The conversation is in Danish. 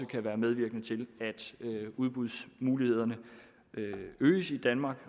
kan være medvirkende til at udbudsmulighederne øges i danmark